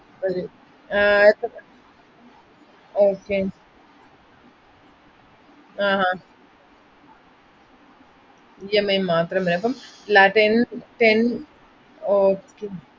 വരും ആഹ് ആയിക്കോട്ടെ okay ആഹ് അഹ് EMI മാത്രം വരും, അപ്പം ല~ ten, ten okay